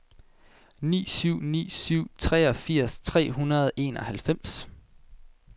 ni syv ni syv treogfirs tre hundrede og enoghalvfems